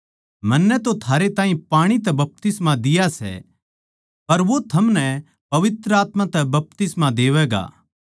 मन्नै तो थारै ताहीं पाणी तै बपतिस्मा दिया सै पर वो थमनै पवित्र आत्मा तै बपतिस्मा देवैगा